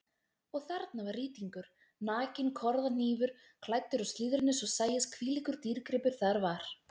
Og þarna var rýtingur, nakinn korðahnífur klæddur úr slíðrinu svo sæist hvílíkur dýrgripur þar var.